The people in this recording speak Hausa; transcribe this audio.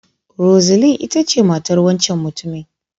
Roseline ita ce matar wancan mutumin.